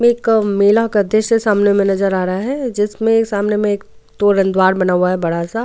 एक मेला का द्रश्य सामने में नजर आ रहा है जिसमें सामने में एक तोरणद्वार बना हुआ है बड़ा सा।